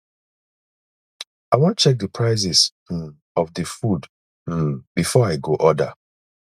i wan check di prices um of di food um before i go order